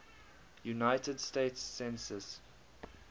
united states census